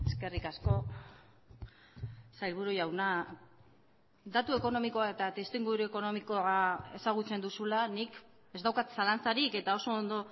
eskerrik asko sailburu jauna datu ekonomikoa eta testuinguru ekonomikoa ezagutzen duzula nik ez daukat zalantzarik eta oso ondo